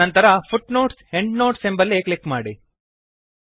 ನಂತರ footnotesಎಂಡ್ನೋಟ್ಸ್ ಎಂಬಲ್ಲಿ ಕ್ಲಿಕ್ ಮಾಡಿ